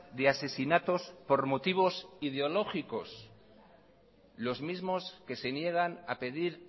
de asesinatos por motivos ideológicos los mismos que se niegan a pedir